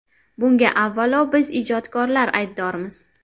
Bunga avvalo biz ijodkorlar aybdormiz.